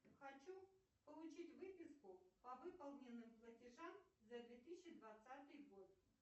хочу получить выписку по выполненным платежам за две тысячи двадцатый год